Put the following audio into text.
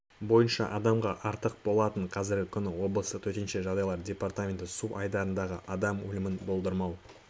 бойынша адамға артық болатын қазіргі күні облыстық төтенше жағдайлар департаменті су айдындарындағы адам өлімін болдырмау